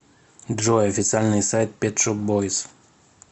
джой официальный сайт пет шоп бойз